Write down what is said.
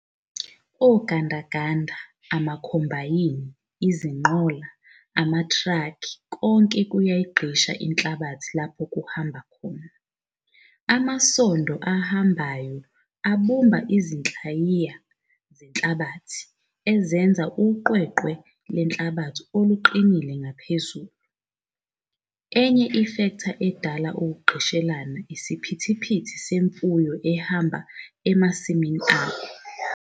Ogandaganda, amakhombayni, izinqola, amatraki konke kuyayigqisha inhlabathi lapho kuhamba khona. Imasondo ahambayo abumba izinhlayiya zenhabathi enze uqweqwe lwenhlabathi oluqinile ngaphezulu. Enye ifektha edala ukugqishelana isiphithiphithi semfuyo ehamba emasimini akho.